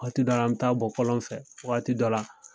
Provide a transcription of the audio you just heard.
Waati dɔ la an bi taa bɔ kɔlɔn fɛ wagati dɔ la